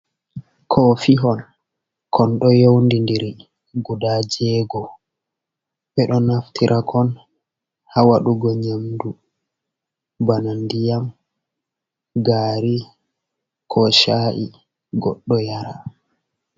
Kofihon, kon ɗo yewndindiri, guda jeego. Ɓe ɗo naftira kon ha waɗugo nyamdu bana ndiyam, gaari ko sha’i, goɗɗo yara.